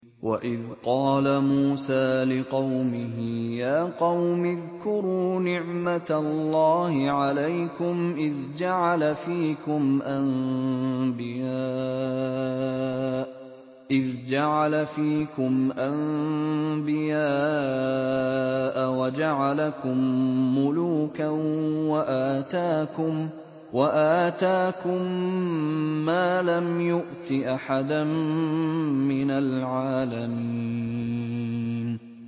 وَإِذْ قَالَ مُوسَىٰ لِقَوْمِهِ يَا قَوْمِ اذْكُرُوا نِعْمَةَ اللَّهِ عَلَيْكُمْ إِذْ جَعَلَ فِيكُمْ أَنبِيَاءَ وَجَعَلَكُم مُّلُوكًا وَآتَاكُم مَّا لَمْ يُؤْتِ أَحَدًا مِّنَ الْعَالَمِينَ